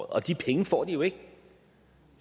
og de penge får de jo ikke